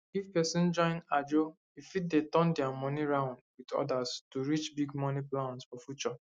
if person join ajo e fit dey turn their money round with others to reach big money plans for future